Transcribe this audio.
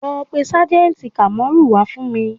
Lọ pé sájẹ̀ǹtì Kamoru wá fún mi